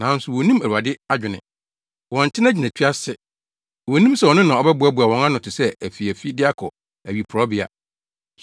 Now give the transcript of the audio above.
Nanso wonnim Awurade adwene. Wɔnte nʼagyinatu ase. Wonnim sɛ ɔno na ɔboaboa wɔn ano te sɛ afiafi de kɔ awiporowbea.